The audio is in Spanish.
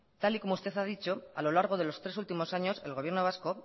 tal y como usted ha dicho a lo largo de los tres últimos años el gobierno vasco